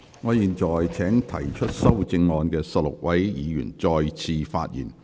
我現在請提出修正案的16位議員再次發言。